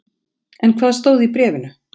En hvað stóð í bréfinu?